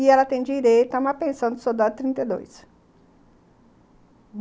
E ela tem direito a uma pensão de soldado de trinta e dois.